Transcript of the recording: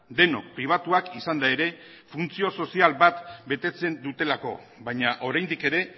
denok pribatuak izanda ere funtzio sozial bat betetzen dutelako baina oraindik ere